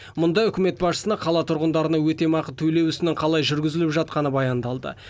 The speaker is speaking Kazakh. мұнда үкімет басшысына қала тұрғындарына өтемақы төлеу ісінің қалай жүргізіліп жатқаны баяндалды